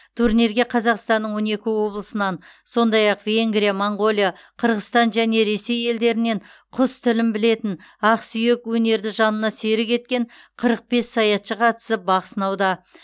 турнирге қазақстанның он екі облысынан сондай ақ венгрия моңғолия қырғызстан және ресей елдерінен құс тілін білетін ақсүйек өнерді жанына серік еткен қырық бес саятшы қатысып бақ сынауда